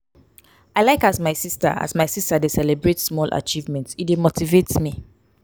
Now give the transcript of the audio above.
i like as my sista as my sista dey celebrate small achievement e dey motivate me.